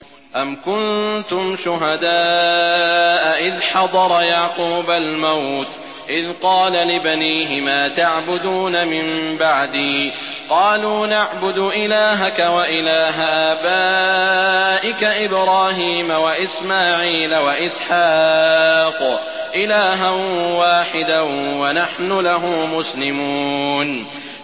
أَمْ كُنتُمْ شُهَدَاءَ إِذْ حَضَرَ يَعْقُوبَ الْمَوْتُ إِذْ قَالَ لِبَنِيهِ مَا تَعْبُدُونَ مِن بَعْدِي قَالُوا نَعْبُدُ إِلَٰهَكَ وَإِلَٰهَ آبَائِكَ إِبْرَاهِيمَ وَإِسْمَاعِيلَ وَإِسْحَاقَ إِلَٰهًا وَاحِدًا وَنَحْنُ لَهُ مُسْلِمُونَ